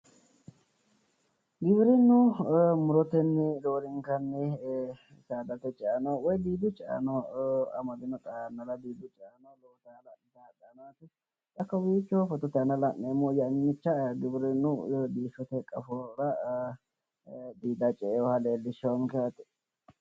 Giwirinnu murotenni roorenkanni saadate woyi diidu caeano amadino xaa yannara diidu ceano lowo geeshsha hala'litayi hadhayi no yaate. Xa kowiicho fotote aana la'neemmohu yannicha giwirinnu diishshote qafora diida ce"ewoha leellishshawonke yaate.